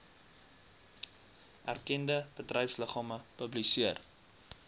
erkende bedryfsliggame publiseer